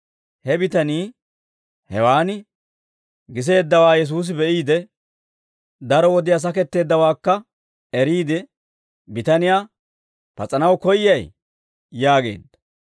He bitanii hewan giseeddawaa Yesuusi be'iide, daro wodiyaa saketteeddawaakka eriide bitaniyaa, «Pas'anaw koyyay?» yaageedda.